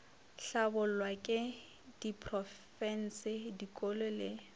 hlabollwa ke diprofense dikolo le